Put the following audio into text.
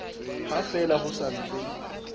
ha fela ho sa ntse